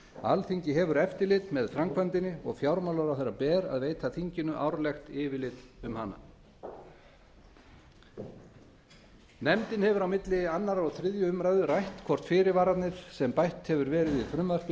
alþingi hefur eftirlit með framkvæmdinni og fjármálaráðherra ber að veita þinginu árlegt yfirlit um hana nefndin hefur á milli annars og þriðju umræðu rætt hvort fyrirvararnir sem bætt hefur verið við frumvarpið